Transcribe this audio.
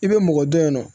I bɛ mɔgɔ dɔ ye nɔ